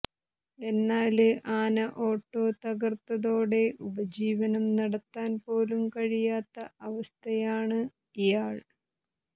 എന്നാല് ആന ഓട്ടോ തകര്ത്തതോടെ ഉപജീവനം നടത്താന്പോലും കഴിയാത്ത അവസ്ഥയാണ് ഇയാൾ